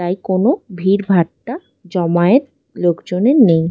তাই কোনো ভিড়ভাট্টা জমায়েত লোকজনের নেই।